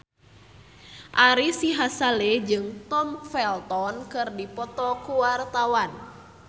Ari Sihasale jeung Tom Felton keur dipoto ku wartawan